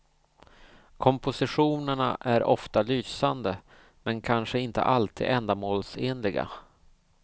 Kompositionerna är ofta lysande, men kanske inte alltid ändamålsenliga.